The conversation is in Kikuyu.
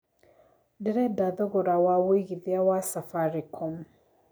ndĩreda thogora wa wĩigĩthĩa wa safaricom